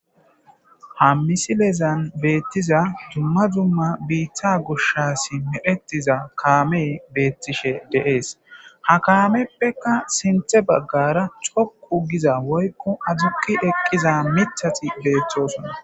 ha misilezan beettiza dumma dumma biiththa gushasi meetiza kaame beettishe deees ha kaameppeka sinthe baggara coqu giza woykko azukki eqqiza mithati beeththosona